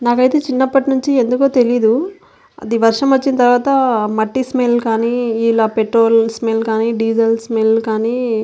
నాకైతే చిన్నప్పటినుంచి ఏమిటో తెలీదు అది వర్షం వచ్చిన తర్వాత మట్టి స్మెల్ గాని ఇలా పెట్రోలు స్మెల్ కానీ డీజిల్ స్మెల్ కానీ.